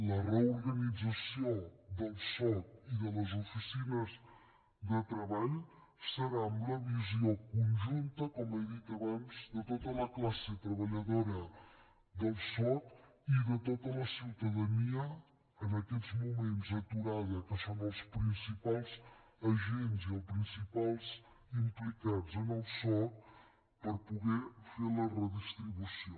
la reorganització del soc i de les oficines de treball serà amb la visió conjunta com he dit abans de tota la classe treballadora del soc i de tota la ciutadania en aquests moments aturada que són els principals agents i els principals implicats en el soc per poder fer la redistribució